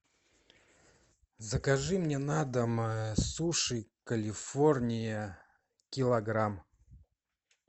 закажи мне на дом суши калифорния килограмм